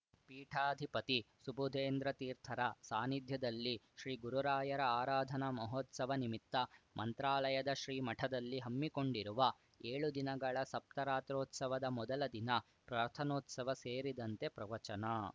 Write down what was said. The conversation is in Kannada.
ಪೀಠಾಧಿಪತಿ ಸುಬುಧೇಂದ್ರ ತೀರ್ಥರ ಸಾನ್ನಿಧ್ಯದಲ್ಲಿ ಶ್ರೀಗುರುರಾಯರ ಆರಾಧನಾ ಮಹೋತ್ಸವ ನಿಮಿತ್ತ ಮಂತ್ರಾಲಯದ ಶ್ರೀಮಠದಲ್ಲಿ ಹಮ್ಮಿಕೊಂಡಿರುವ ಏಳು ದಿನಗಳ ಸಪ್ತರಾತ್ರೋತ್ಸವದ ಮೊದಲ ದಿನ ಪ್ರಾರ್ಥನೋತ್ಸವ ಸೇರಿದಂತೆ ಪ್ರವಚನ